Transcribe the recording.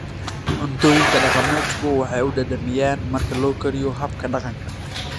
Cuntooyinka dhaqameedku waxay u dhadhamiyaan marka loo kariyo habka dhaqanka.